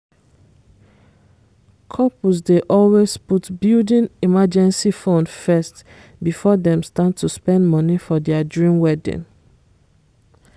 couples dey always put building emergency fund first before dem start to spend money for dia dream wedding.